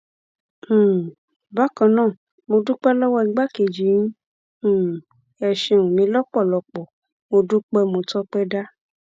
um bákan náà mo dúpẹ lọwọ igbákejì yín um ẹ ṣeun mi lọpọlọpọ mo dúpẹ mo tọpẹ dá